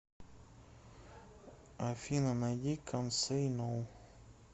афина найди кант сэй ноу